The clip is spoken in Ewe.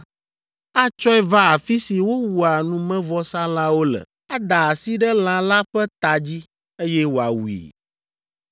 Atsɔe va afi si wowua numevɔsalãwo le, ada asi ɖe lã la ƒe ta dzi, eye wòawui.